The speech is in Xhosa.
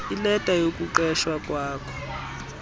ileta yokuqeshwa kwakho